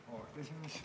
Auväärt juhataja!